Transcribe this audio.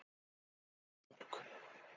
Þórsmörk